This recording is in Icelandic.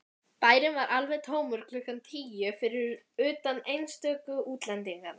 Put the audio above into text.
Bærinn var alveg tómur klukkan tíu, fyrir utan einstöku útlendinga.